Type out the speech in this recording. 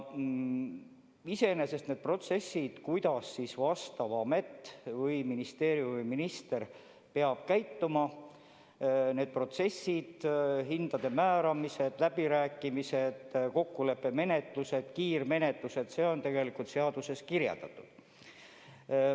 Iseenesest on protsessid, kuidas konkreetne amet või ministeerium või minister peab käituma – kõik need hindade määramised, läbirääkimised, kokkuleppemenetlused, kiirmenetlused –, tegelikult seaduses kirjeldatud.